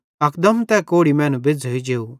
अकदम तै कोढ़ी बज़्झ़ोई जेव